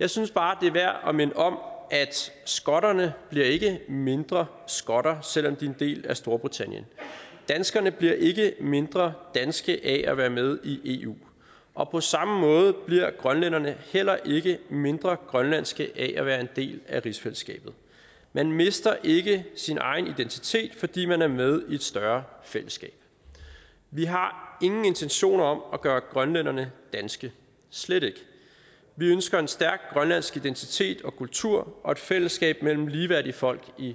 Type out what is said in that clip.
jeg synes bare det er værd at minde om at skotterne ikke mindre skotter selv om de er en del af storbritannien danskerne bliver ikke mindre danske af at være med i eu og på samme måde bliver grønlænderne heller ikke mindre grønlandske af at være en del af rigsfællesskabet man mister ikke sin egen identitet fordi man er med i et større fællesskab vi har ingen intentioner om at gøre grønlænderne danske slet ikke vi ønsker en stærk grønlandsk identitet og kultur og et fællesskab mellem ligeværdige folk i